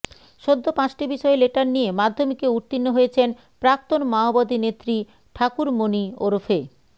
সদ্য পাঁচটি বিষয়ে লেটার নিয়ে মাধ্যমিকে উত্তীর্ণ হয়েছেন প্রাক্তন মাওবাদী নেত্রী ঠাকুরমণি ওরফে